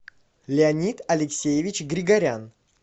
леонид алексеевич григорян